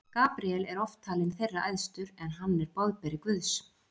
Gabríel er oft talinn þeirra æðstur, en hann er boðberi Guðs.